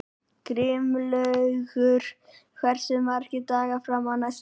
Grímlaugur, hversu margir dagar fram að næsta fríi?